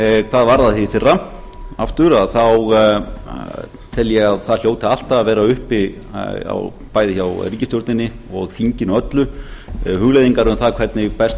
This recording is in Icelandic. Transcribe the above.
hvað varðar aftur þá tel ég að það hljóti alltaf að vera uppi bæði hjá ríkisstjórninni og þinginu öllu hugleiðingar um það hvernig best